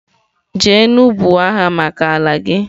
jenu buo agha maka ala gi!